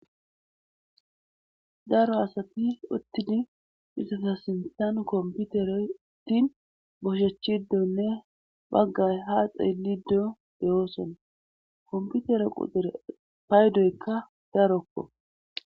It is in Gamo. daro asati uttidi ethaza sinttan komppitere uttin boshechidenne baggay haa xeellidi diyo de7oosona;kompitre quxure paydoykka darokko.